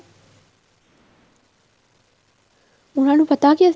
ਉਹਨਾ ਨੂੰ ਪਤਾ ਕੇ